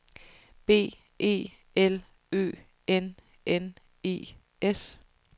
B E L Ø N N E S